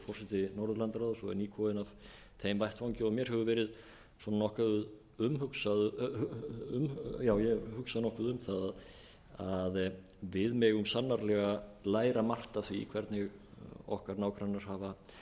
forseti norðurlandaráðs og er nýkominn af þeim vettvangi og ég hef hugsað nokkuð um það að við megum sannarlega læra margt af því hvernig okkar nágrannar